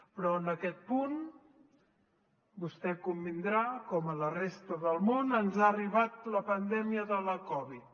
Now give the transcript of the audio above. però en aquest punt vostè hi convindrà com a la resta del món ens ha arribat la pandèmia de la covid